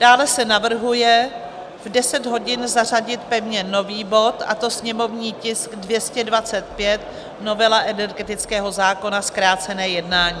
Dále se navrhuje v 10 hodin zařadit pevně nový bod, a to sněmovní tisk 225, novela energetického zákona, zkrácené jednání.